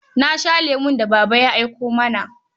Na sha lemon da Baba ya aiko mana.